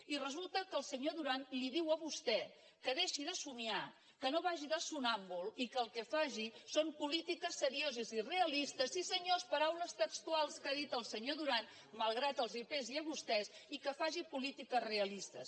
i resulta que el senyor duran li diu a vostè que deixi de somiar que no vagi de somnàmbul i que el que faci són polítiques serioses i realistes sí senyors paraules textuals que ha dit el senyor duran malgrat que els pesi a vostès i que faci polítiques realistes